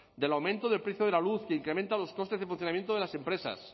del aumento del precio de la luz que incrementa los costes de funcionamiento de las empresas